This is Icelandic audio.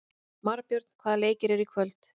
Marbjörn, hvaða leikir eru í kvöld?